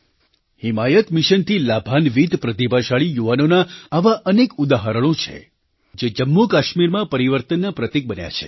હિમાયત મિશનથી લાભાન્વિત પ્રતિભાશાળી યુવાનોનાં આવાં અનેક ઉદાહરણો છે જે જમ્મુકાશ્મીરમાં પરિવર્તનના પ્રતીક બન્યા છે